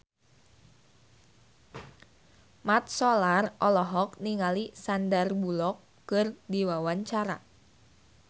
Mat Solar olohok ningali Sandar Bullock keur diwawancara